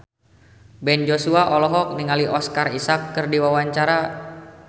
Ben Joshua olohok ningali Oscar Isaac keur diwawancara